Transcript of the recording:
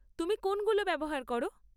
তুমি কোনগুলো ব্যবহার করো?